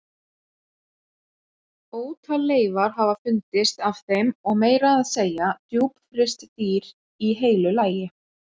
Ótal leifar hafa fundist af þeim og meira að segja djúpfryst dýr í heilu lagi.